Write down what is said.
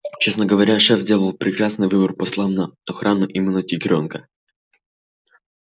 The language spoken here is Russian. честно говоря шеф сделал прекрасный выбор послав на охрану именно тигрёнка